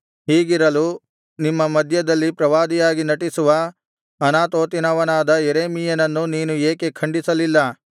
ಹೀಗಿರಲು ನಿಮ್ಮ ಮಧ್ಯದಲ್ಲಿ ಪ್ರವಾದಿಯಾಗಿ ನಟಿಸುವ ಅನಾತೋತಿನವನಾದ ಯೆರೆಮೀಯನನ್ನು ನೀನು ಏಕೆ ಖಂಡಿಸಲಿಲ್ಲ